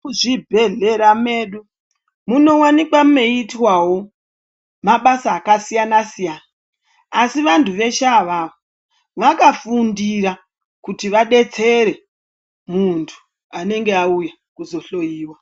Kuzvibhedhlera medu munowanikwa meiitwawo mabasa akasiyana-siyana. Asi vantu veshe avawo ,vakafundira kuti vadetsere, muntu anenge auya kuzohloiwa.